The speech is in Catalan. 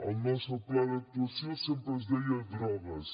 al nostre pla d’actuació sempre es deia drogues